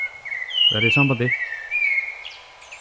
Verð í sambandi.